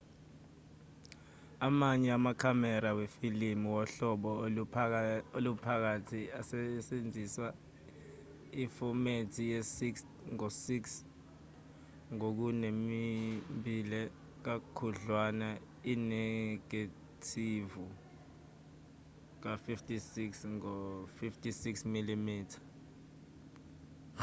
amanye amakhamera wamafilimi wohlobo oluphakathi asebenzisa ifomethi ye-6 ngo-6 ngokunembile kakhudlwana inegethivu ka-56 ngo-56 mm